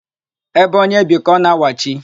Ébé onye bi ka ọ na-awachi.